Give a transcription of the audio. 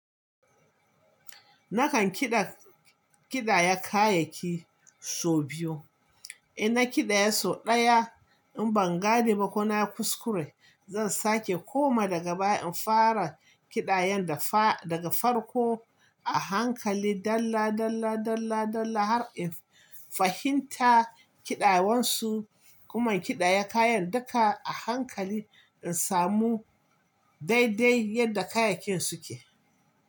Nakan kiɗa kiɗaya kayayyaki sau biyu. In na kiɗaya sau ɗaya, in ban gane ba ko na kuskure, zan sake koma daga baya in fara kiɗayan da fa daga farko a hankali. Dala, dala, dala, dala har in fahimta kiɗawansu. Kuma kiɗaya kayan duka a hankali in samu daidai yadda kayayyakin suke.